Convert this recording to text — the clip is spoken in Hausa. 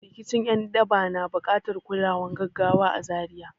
Rikicin ’yan daba na buƙatar kulawar gaggawa a Zaria.